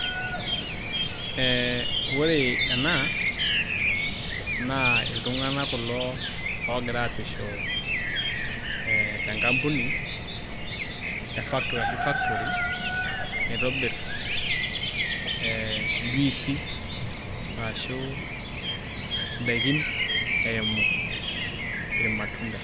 Ee ore ena naa iltung'anak kulo oogira aasisho tenkapuni ashu factory naitobirr ee njuisi arashu ndaikin eimu irmatunda.